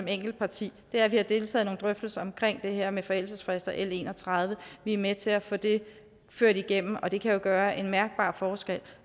enkeltparti er at vi har deltaget i nogle drøftelser om det her med forældelsesfrister l enogtredivete vi er med til at få det ført igennem og det kan jo gøre en mærkbar forskel